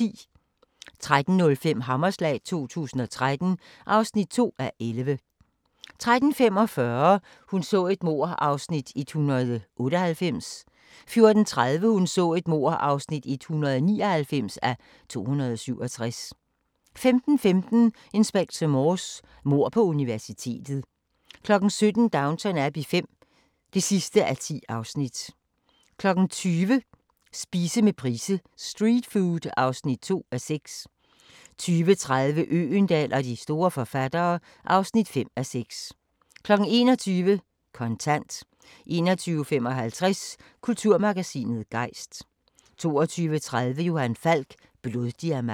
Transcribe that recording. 13:05: Hammerslag 2013 (2:11) 13:45: Hun så et mord (198:267) 14:30: Hun så et mord (199:267) 15:15: Inspector Morse: Mord på universitetet 17:00: Downton Abbey V (10:10) 20:00: Spise med Price: "Street food" (2:6) 20:30: Øgendahl og de store forfattere (5:6) 21:00: Kontant 21:55: Kulturmagasinet Gejst 22:30: Johan Falk: Bloddiamanter